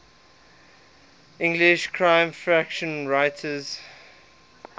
english crime fiction writers